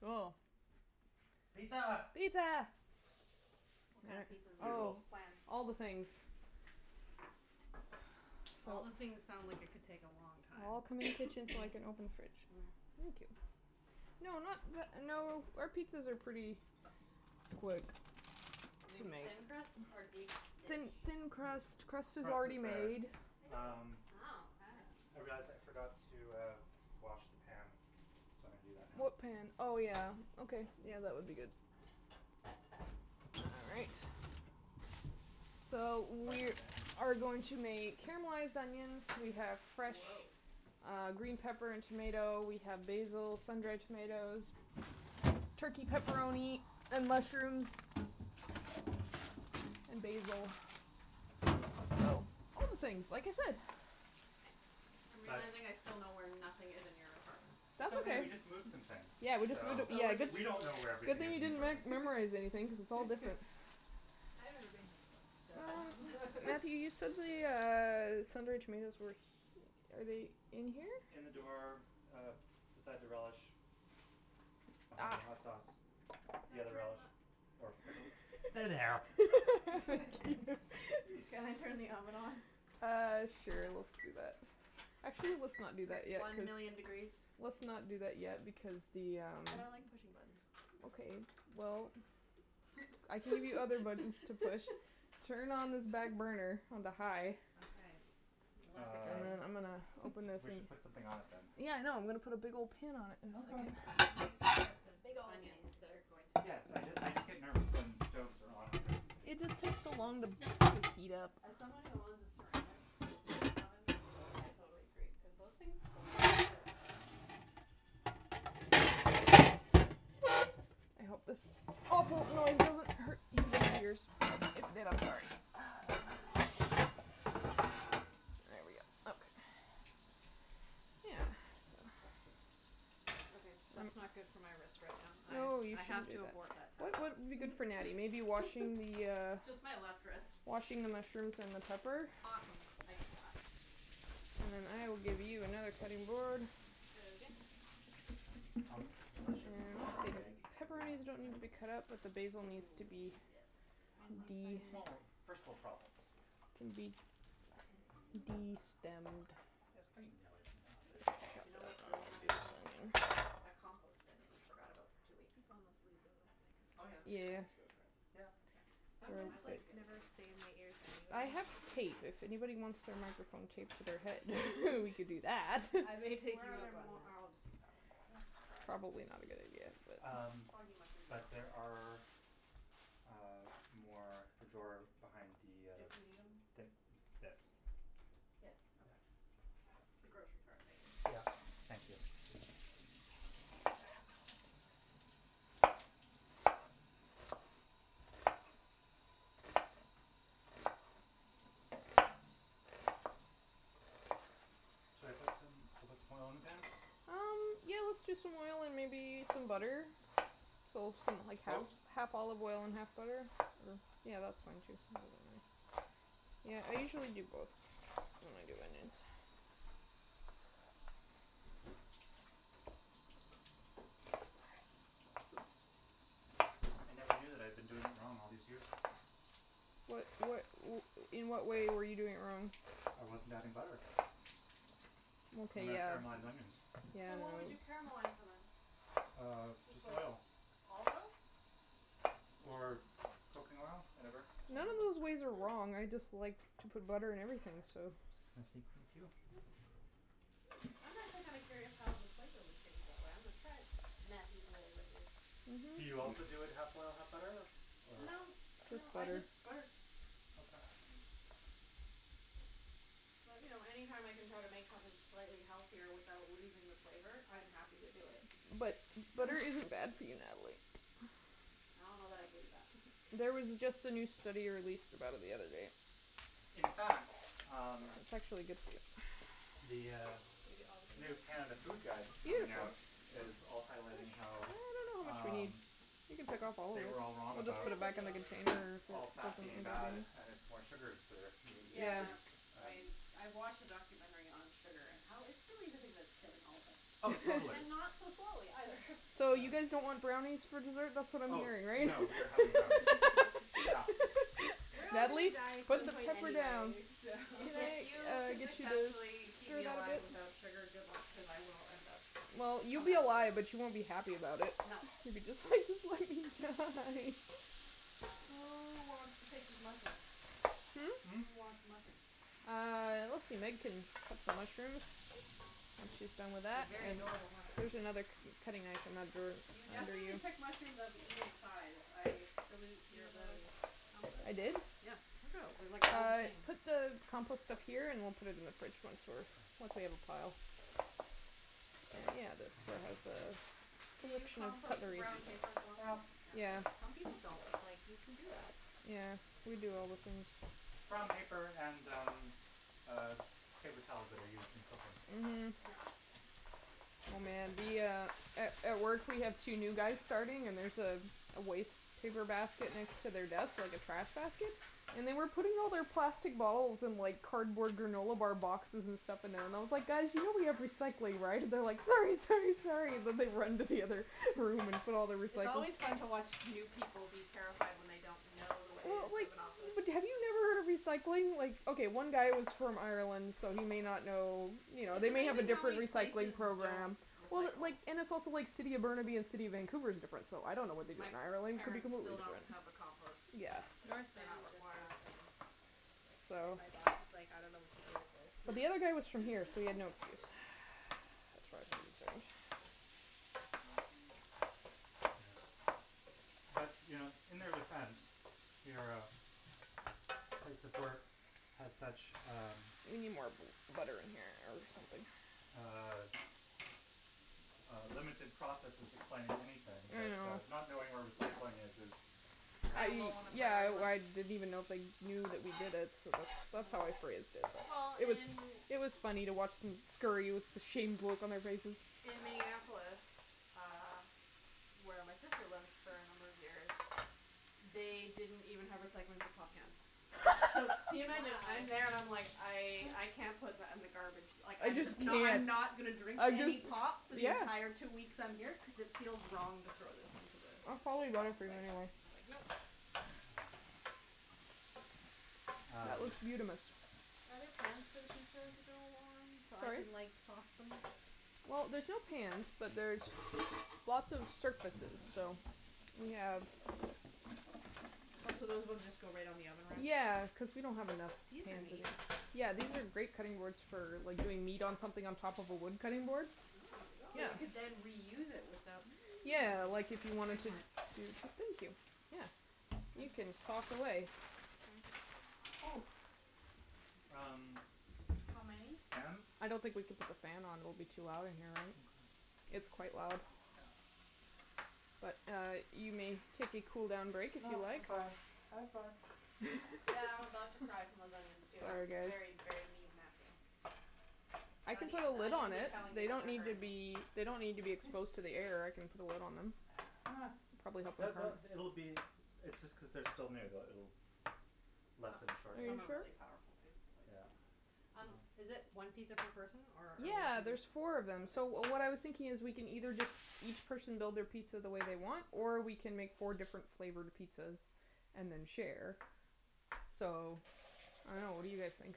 Cool. Pizza. Pizza. What kind of pizza do we want to Oh. Bugles. plan? All the things. All the things sounds like it could take a long All time. come in the kitchen. It's like an open fridge. Mm. Thank you. No, not the no, our pizzas are pretty quick Is it going to to be make. thin crust or deep Thin dish? thin crust. Crust is Crust already is better. made. Uh. Wow. I see. Hey, Jas, I forgot to uh wash the pan, so I'm going to do that now. What pan? Oh, yeah. Okay, yeah, that would be good. All right. So, The we mushroom pan. are going to make caramelized onions. We have fresh Whoah. uh green pepper and tomato. We have basil, sun dried tomatoes. Turkey pepperoni, and mushrooms. And basil. All things, like I said. I'm realizing I still know where nothing is in your apartment. It's That's okay. We okay. just moved some things. Yeah, we just So moved. Yeah, did we don't know where we Good everything thing is you in the didn't re- apartment. memorize anything because it's all different. I've never been here before, so Matthew, you said the uh sun dried tomatoes were he- Are they in here? In the door, uh, beside the relish. Behind the Ah. hot sauce. The Can I other turn relish. the Or pickle. There they are. Thank you. Can I turn the oven on? Uh, sure, let's do that. Actually, let's not do that yet One cuz million degrees. Let's not do that yet because the um But I like pushing buttons. Okay, well, I can give you other buttons to push. Turn on this back burner onto high. Okay, less Um exciting. I'm gonna open this we and should put um something on it, then. Yeah, I know. I'm going to put a big old pan on it in Okay. a second. I think she said there's Big old pan. onions that are going to Yes, so I just I just get nervous when stoves are on and there isn't It anything just on takes so long to them. heat up. As someone who owns a ceramic oven, Yeah. I totally agree cuz those things those things can hurt. I hope this awful noise doesn't hurt anybody's ears. If it did, I'm sorry. There we go. Okay. Yeah. Okay, that's not good for my wrist right now. I I have to abort that What task. would be good for Natty? Maybe washing the uh Just my left wrist. Washing the mushrooms and the pepper? Awesome, I can wash. And then I will give you another cutting board. Is that okay? Omelettes are delicious, but dried egg is Pepperoni doesn't need to be cut up, but the basil needs to be. Mm, yes, not fun. Funny It's funny small small first world problems. Yes. Can be It's destemmed. it's like to know this egg You know stuck what's up really annoying to me? That compost bin that you forgot about for two weeks. Oh, yeah. Yeah yeah yeah That's really gross. Yeah. Yeah. That was Headphones my life like the other day. never stay in my ears I anyway. have tape. If anyone wants their microphone taped to their head, we could do that. I'm gonna take Where are you there up on more that. I'll just use that one, just to dry it off. Probably not a good idea but Um Soggy mushrooms but aren't. there are, uh, more in the drawer behind the uh If we need them. The this Yes. Yeah. The grocery cart thingy. Yeah, thank you. Should I put some should I put some more oil on the pan? Um, yeah, let's do some oil and maybe some butter. So something like half Both? half olive oil and half butter. Or yeah that's fine too. Yeah, I usually do both when I do onions. I never knew that I've been doing it wrong all these years. What what In what way were you doing it wrong? I wasn't adding butter. Okay When I yeah caramelize onions. So what would you Yeah caramelize them in? Um, Just just like oil. olive oil? Or cooking oil, whatever. Mm. None of those ways are wrong. Mm. I just like to put butter in everything, so I'm just gonna sneak thank you. I'm actually kinda curious how the flavor would change that way. I'm gonna try it. Matthew's way Do you also do it half oil, half butter or? No, no, Just I butter. just butter. Okay. But, you know, any time I can try to make something slightly healthier without losing the flavor, I'm happy to do it. But butter isn't bad for you, Natalie. I don't know that I believe that. There was just a new study released about it the other day. In fact, um, It's actually good for you. the uh new Canada Food Guide coming out is also highlighting I how don't know how much we need. um You can pick off all of they were all I think them. I'm wrong We'll just about put them gonna back in do all the of it. container all or put fat them being bad and it's more sugars that are being Yeah, introduced. I I watched a documentary on sugar and how it's really the thing that's killing all of us. Oh, totally. And not so slowly either. So you guys don't want brownies for dessert? That's what I'm Oh, hearing, right? no, we are having brownies. Yeah. We're all going to be on Natalie, a diet at put some the point pepper down. anyway, so. If you I'll could get you successfully keep me alive to without sugar, good luck because I will end up Well, you'll coming be after alive, but you. you won't be happy about it. No. Who wants to take these mushrooms? Hmm? Hmm? Who wants mushrooms? Uh, let's see, Meg can cut some mushrooms. When she's done with They're that. very adorable There's mushrooms. another k- cutting knife in that drawer You under definitely you. pick mushrooms of an even size. I salute your Peanut ability. I did? butter Yeah. Look at them. They're like all the Uh same. put the compost up Oh. here and we'll put it in the fridge once we once we have a pile. Yeah, that's Can you compost the brown paper as Well, well? yeah. Some people don't. It's like, you can do that. Yeah. We do all the things. Brown paper and, um, paper uh towels that are used in cooking. Mhm. Yeah. Oh, man, the uh A at work we have two new guys starting and there's a waste paper basket next to their desk, like a trash basket, and they were putting all their plastic bottles and like cardboard granola bar boxes and stuff in there, and I was like, "Guys, you know we have recycling, right?" And they're like, "Sorry, sorry, sorry," and they run into the other room and put all their It's recycling. always fun to watch new people be terrified when they don't know the Well, ways like, of an office. but have you never heard of recycling? Like, okay, one guy was from Ireland, so he may not know, you know, It's they may have a amazing how different many recycling places don't program. Well, recycle. like, and it's also like City of Burnaby and City of Vancouver is different, so I don't know what they do My in Ireland. It could be parents completely still don't different. have a compost. Yeah. They North they are not Van just required. got them. And So my boss is like, "I don't know what to do with this." The other guy was from here, so he had no excuse. As far as I am concerned. Yeah. But, you know, in their defense, your place of work has such, um We need more bu- butter in here or something. Uh uh limited processes explaining anything I that uh know. not knowing where recycling is is I Kind of low on the yeah, priority list. I didn't even know if they knew that we did it, so that's that's Mm. how I phrased it. Well, It was in it was funny to watch them scurry with the shamed look on their faces. In Minneapolis, uh, where my sister lived for a number of years, they didn't even have recycling for pop cans. So, can you imagine? I'm there and I'm like, Wow. "I I can't put that in the garbage." Like, I I'm just just knew not it. not gonna drink I any just pop for the yeah. entire two weeks I'm here cuz it feels wrong to throw this into the It's probably better for you like anyway. like yeah That Um. looks beautamis. Are there pans for the pizza to go on so I Sorry? can like sauce them? Well, there's no pans, but there's lots of surface, so We have What, so those ones just go right on the oven rack? Yeah, cuz we don't have enough These are amazing. Yeah, these are great cutting boards for like doing meat on something on top of a wood cutting board. Oh. So you could then reuse it without Yeah, like if you wanted to Thank you. Yeah. You can sauce away. Mm. Oh. Um How many? Fan? I don't think we can put the fan on. It will be too loud in here, right? It's Okay. quite loud. Yeah. But uh you may take a cool down break if you No, I'm like. fine, I'm fine. Yeah, I'm about to cry from those onions, too. Sorry, You're guys. very, very mean Matthew. I can The put a the lid onions on are it. telling you They that don't they're need to hurting. be They don't need to be exposed to the air. I can put a lid on them. Uh Probably It'll be It's just cuz they're still new that it'll lessen Are shortly. you Some are sure? really powerful, too like Yeah. um Um, is it one pizza per person or? Yeah, there's four of them. So what I was thinking is, we can either just each person build their pizza the way they want, or we can make four different flavored pizzas and then share. So, I don't know. What do you guys think?